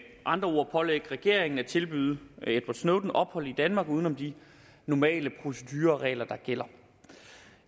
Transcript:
andre ord pålægge regeringen at tilbyde edward snowden ophold i danmark uden om de normale procedureregler der gælder